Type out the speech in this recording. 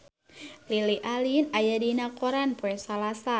Lily Allen aya dina koran poe Salasa